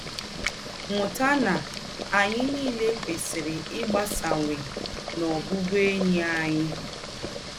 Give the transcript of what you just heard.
Mụ́tà na ányị̀ niilè kwèsịrị ígbásáwányè n’ọ̀bụ̀bụ̀én̄yi ányị̀.